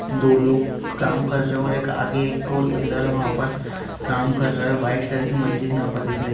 दो लोग काम कर रहे हैं और आगे एक और इधर है वहाँ पर काम कर रहे हैं व्हाइट कलर की मस्जिद यहाँ पर दिख रही --